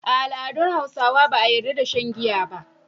A al’adun Hausawa ba a yarda da shan giya ba.